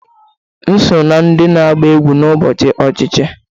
M so na ndị na-agba egwú n'ụbọchị ochichi